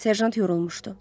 Serjant yorulmuşdu.